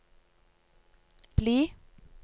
bli